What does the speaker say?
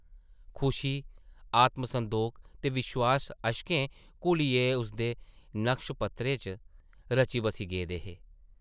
खुशी, आत्मसंदोख ते विश्वास अश्कें घुलियै उसदे नक्श-पत्तरें च रची-बस्सी गेदे हे ।